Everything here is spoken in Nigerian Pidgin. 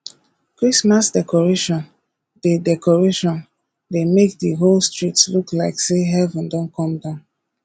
christmas decoration dey decoration dey make di whole street look like sey heaven don come down